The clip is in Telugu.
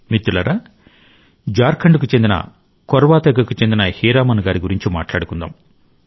మిత్రులారా జార్ఖండ్కు చెందిన కొర్వా తెగకు చెందిన హీరామన్ గారి గురించి మాట్లాడుకుందాం